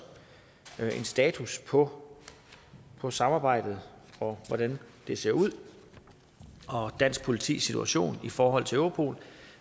status på på samarbejdet og hvordan det ser ud og dansk politis situation i forhold til europol